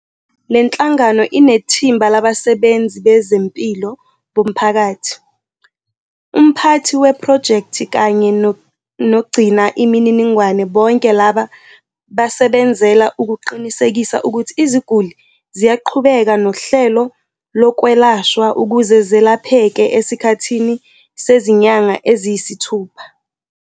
Le nhlangano inethimba labasebenzi bezempilo bomphakathi, umphathi wephrojekthi kanye nogcina imininingwane bonke laba basebenzela ukuqinisekisa ukuthi iziguli ziyaqhubeka nohlelo lokwelashwa ukuze zelapheke esikhathini sezinyanga eziyisithupha.